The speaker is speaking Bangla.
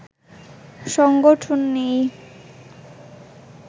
সংগঠন নেই